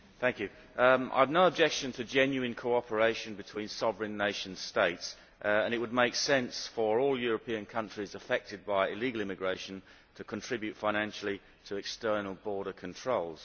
Madam President, I have no objection to genuine cooperation between sovereign nation states and it would make sense for all European countries affected by illegal immigration to contribute financially to external border controls.